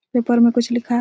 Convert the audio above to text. Paper में कुछ लिखा हैं।